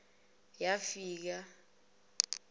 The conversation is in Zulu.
yafika